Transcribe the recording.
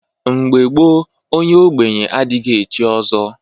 Mgbe gboo onye ogbenye adighi echi ọzọ.